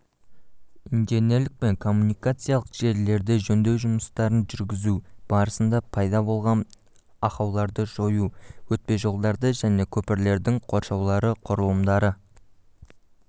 инженерлік пен коммуникациялық желілерде жөндеу жұмыстарын жүргізу барысында пайда болғанақаулардыжою өтпежолдарды және көпірлердің қоршаулары құрылымдарды